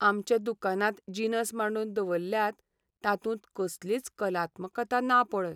आमच्या दुकानांत जिनस मांडून दवल्ल्यात तातूंत कसलीच कलात्मकता ना पळय.